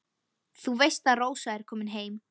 Þú veist að Rósa er komin heim.